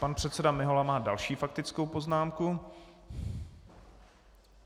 Pan předseda Mihola má další faktickou poznámku.